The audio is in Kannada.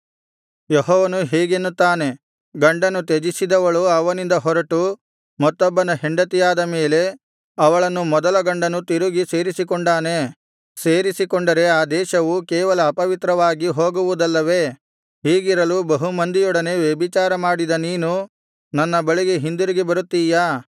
ಯೆಹೋವನು ಹೀಗೆನ್ನುತ್ತಾನೆ ಗಂಡನು ತ್ಯಜಿಸಿದವಳು ಅವನಿಂದ ಹೊರಟು ಮತ್ತೊಬ್ಬನ ಹೆಂಡತಿಯಾದ ಮೇಲೆ ಅವಳನ್ನು ಮೊದಲ ಗಂಡನು ತಿರುಗಿ ಸೇರಿಸಿಕೊಂಡಾನೇ ಸೇರಿಸಿಕೊಂಡರೆ ಆ ದೇಶವು ಕೇವಲ ಅಪವಿತ್ರವಾಗಿ ಹೋಗುವುದಲ್ಲವೇ ಹೀಗಿರಲು ಬಹುಮಂದಿಯೊಡನೆ ವ್ಯಭಿಚಾರ ಮಾಡಿದ ನೀನು ನನ್ನ ಬಳಿಗೆ ಹಿಂದಿರುಗಿ ಬರುತ್ತಿಯಾ